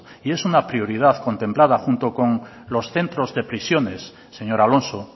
y es una prioridad contemplada junto con los centros de prisiones señor alonso